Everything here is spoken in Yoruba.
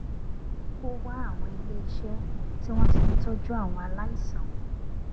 ó wá àwọn iléiṣẹ tí wón ti ń tójú àwọn aláìsàn